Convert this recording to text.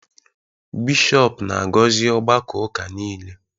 bishọp na-agọzi ọgbakọ n’ụka nile